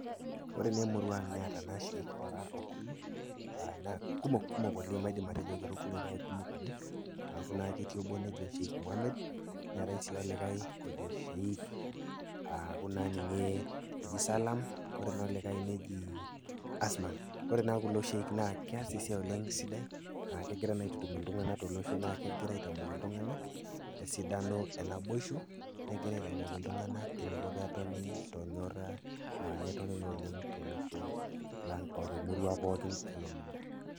Ore naa emurua aang' neata Sheikh oraa okuni, anaa kumok, kumok oleng' maidim atejo kera okuni, kake kumok oleng' aaku naa naa ketii obo oji Sheikh Mohamed, neatai sii olikai oji Sheikh aaku naa ninye eji Salaam, kore naa olikai neji Asman. Kore naa kulo sheikh naa keas esiai oleng' sidai, aa kegira naa aitutum iltung'ana tolosho naa kegira aitamok iltung'ana esidano e naboisho, negira aitamok iltung'ana eneiko pee etoni tolnyora, netoni naa oleng' tolosho lang' o temurua pooki nalulung'a.